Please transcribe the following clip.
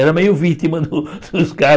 Era meio vítima dos dos